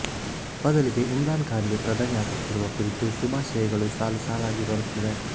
ಬದಲಿಗೆ ಇಮ್ರಾನ್ ಖಾನ್ ಗೆ ಪ್ರಧಾನಿ ಆಗುತ್ತಿರುವ ಕುರಿತು ಶುಭಾಶಯಗಳು ಸಾಲುಸಾಲಾಗಿ ಬರುತ್ತಿವೆ